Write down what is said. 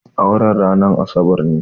Auren ranar Asabar ne.